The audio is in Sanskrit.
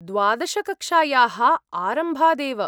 द्वादश कक्ष्यायाः आरम्भादेव।